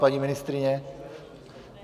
Paní ministryně?